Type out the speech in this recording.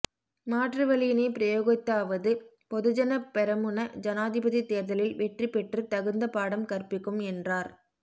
மாற்று வழியினை பிரயோகித்தாவது பொதுஜன பெரமுன ஜனாதிபதி தேர்தலில் வெற்றிப் பெற்று தகுந்த பாடம் கற்பிக்கும் என்றா